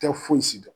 Tɛ fosi dɔn